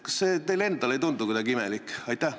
Kas see teile endale ei tundu kuidagi imelik?